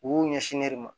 U b'u ɲɛsin ne de ma